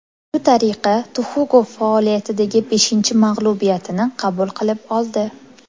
Shu tariqa Tuxugov faoliyatidagi beshinchi mag‘lubiyatini qabul qilib oldi.